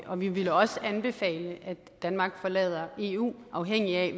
og vi ville også anbefale at danmark forlader eu afhængigt af